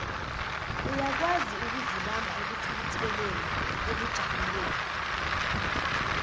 uyakwaziukuzibamba ekuthukutheleni ekujabuleni